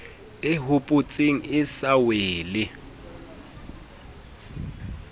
e hopotseng e sa wele